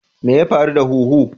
Me ya faru da huhu?